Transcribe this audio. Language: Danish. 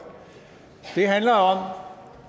det handler om